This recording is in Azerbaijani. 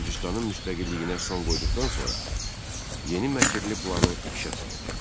Gürcüstanın müstəqilliyinə son qoyduqdan sonra yeni məkirli planı işə saldı.